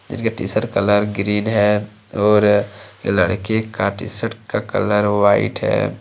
इनका T shirt colour green है और लड़के का टी_शर्ट का कलर वाइट है।